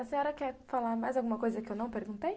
A senhora quer falar mais alguma coisa que eu não perguntei?